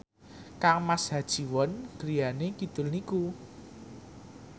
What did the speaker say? kangmas Ha Ji Won griyane kidul niku